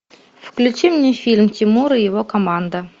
включи мне фильм тимур и его команда